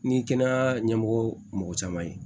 Ni kɛnɛya ɲɛmɔgɔ mɔgɔ caman ye